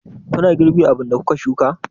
Kuna girbi abin da kuka shuka?